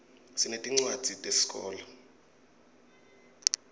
sinetincuadzi teszkolo